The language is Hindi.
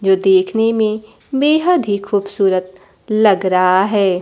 जो देखने में बेहद ही खूबसूरत लग रहा है।